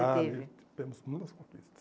você teve? Ah, temos muitas conquistas.